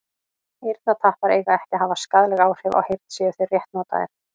eyrnatappar eiga ekki að hafa skaðleg áhrif á heyrn séu þeir rétt notaðir